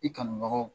I kanbagaw